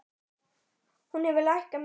Hún hefur lækkað mikið.